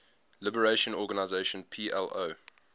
liberation organization plo